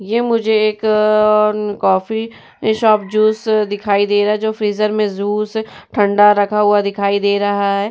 ये मुझे एक कॉफी शॉप जूस दिखाई दे रहा है जो फ्रीज़र में जूस ठंडा रखा हुआ दिखाई दे रहा है।